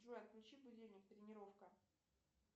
джой отключи будильник тренировка